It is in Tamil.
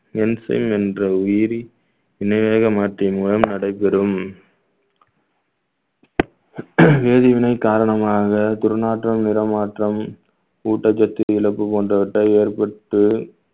என்ற உயிரி மாற்றிய மூலம் நடைபெறும் வேதிவினை காரணமாக துர்நாற்றம் நிறமாற்றம் ஊட்டச்சத்து இழப்பு போன்றவற்றை ஏற்பட்டு